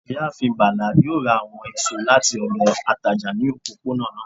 ìyáàfín Bala yoo ra awọn esọ lati ọdọ atajà ni òpọponà